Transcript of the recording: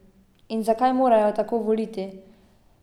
In zakaj morajo tako voliti?